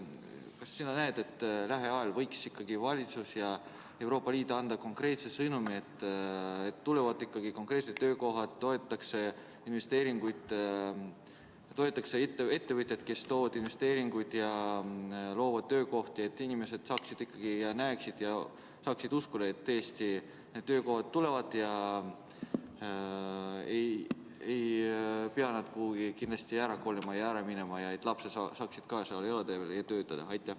Kas sa näed, et lähiajal võiksid valitsus ja Euroopa Liit anda konkreetse sõnumi, et tulevad konkreetsed töökohad, tehakse investeeringuid ning toetatakse ettevõtjaid, kes toovad investeeringuid ja loovad töökohti, nii et inimesed näeksid ja saaksid uskuda, et töökohad tõesti tulevad, nad ei pea kuhugi ära kolima, ja et ka nende lapsed saavad seal elada ja töötada?